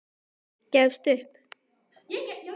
Gefst upp.